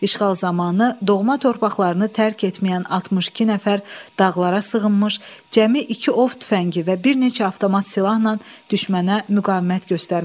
İşğal zamanı doğma torpaqlarını tərk etməyən 62 nəfər dağlara sığınmış, cəmi iki ov tüfəngi və bir neçə avtomat silahla düşmənə müqavimət göstərmişdi.